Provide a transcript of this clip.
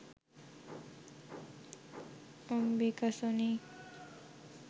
Ambika Sony